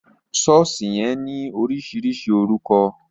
Sọ̀ọ́sì yẹn ní oríṣiríṣi orúkọ